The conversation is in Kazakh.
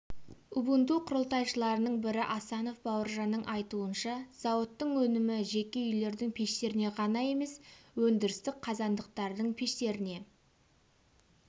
убунту құрылтайшыларының бірі асанов бауыржанның айтуынша зауыттың өнімі жеке үйлердің пештеріне ғана емес өндірістік қазандықтардың пештеріне